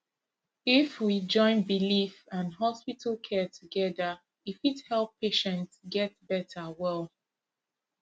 if we join belief and hospital care together e fit help patient get better well